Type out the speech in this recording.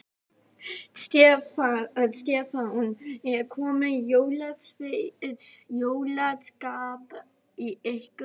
Stefán: Er komið jólaskap í ykkur?